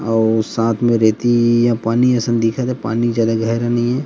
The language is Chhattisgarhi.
अऊ साथ मे रेती ह पानी असन दिखा थे पानी जादा गहरा नई हे।